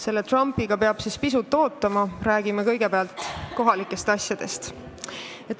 Selle Trumpi asjaga peab pisut ootama, räägime kõigepealt kohalikest asjadest.